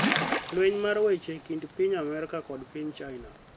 Lweny mar weche e kind piny Amerka kod piny China